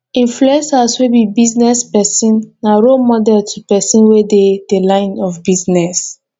influencers wey be business persin na role model to persin wey de the line of business